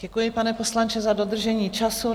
Děkuji, pane poslanče, za dodržení času.